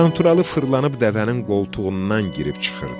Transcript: Qanturalı fırlanıb dəvənin qoltuğundan girib çıxırdı.